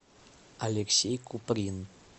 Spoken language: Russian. алексей куприн